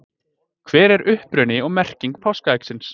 Hver er uppruni og merking páskaeggsins?